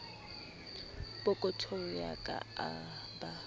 pokothong ya ka a ba